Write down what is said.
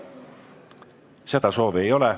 Seda soovi ei ole.